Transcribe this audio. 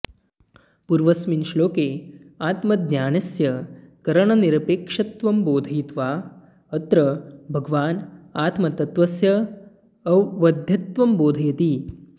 पूर्वस्मिन् श्लोके आत्मज्ञानस्य करणनिरपेक्षत्वं बोधयित्वा अत्र भगवान् आत्मतत्त्वस्य अवध्यत्वं बोधयति